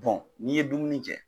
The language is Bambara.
n'i ye dumuni kɛ